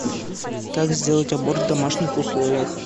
как сделать аборт в домашних условиях